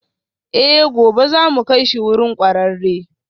Eh, gobe za mu kai shi wurin kwararre